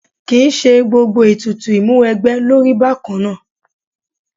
Kì í ṣe gbogbo ètùtù ìmúwẹgbẹ́ ló rí bákan náà.